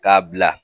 K'a bila